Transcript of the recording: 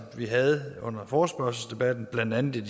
vi havde under forespørgselsdebatten blandt andet er